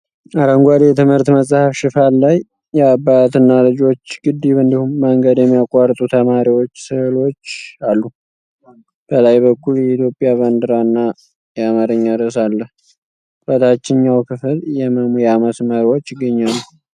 አረንጓዴ የትምህርት መጽሐፍ ሽፋን ላይ የአባትና ልጆች፣ ግድብ እንዲሁም መንገድ የሚያቋርጡ ተማሪዎች ሥዕሎች አሉ። በላይ በኩል የኢትዮጵያ ባንዲራና የአማርኛ ርዕስ አለ። በታችኛው ክፍል የመሙያ መስመሮች ይገኛሉ።